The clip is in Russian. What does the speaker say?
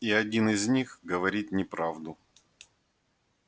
и один из них говорит неправду